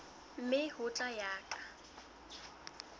mme ho tla ya ka